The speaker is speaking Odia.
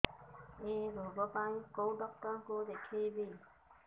ଏଇ ରୋଗ ପାଇଁ କଉ ଡ଼ାକ୍ତର ଙ୍କୁ ଦେଖେଇବି